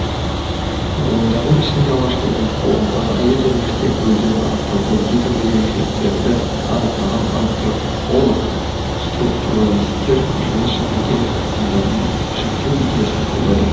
ғалымдардың ішінде алғашқы болып қоғамдағы әйел және еркек рөлдерін анықтауда едәуір ерекшеліктерді анықтаған антрополог структуралистер жыныс және гендер ұғымдарымен жіктеу идеясын қолдады